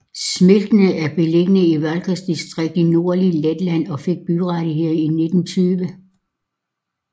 Smiltene er beliggende i Valkas distrikt i det nordlige Letland og fik byrettigheder i 1920